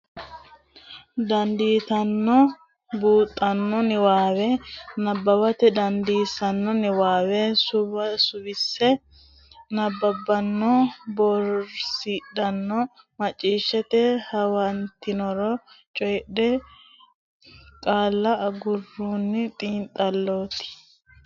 dandiitanno buuxxanno niwaawe nabbawate dandoonsa niwaawe suwisse nabbabbanno bowirsidhanno macciishshite huwattinore coyidhe qaalla garunni xiinxallitanno kultanno borrote hedo graafete qiniishshinni coy fooliishsho yannatenna borreessitanno dargu gurdi ledaano hattono massagaanchimmate sufo baddanno.